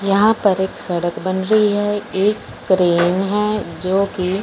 यहां पर एक सड़क बन रही है एक क्रेन है जोकि--